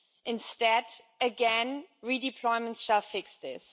Instead, again, redeployment shall fix this.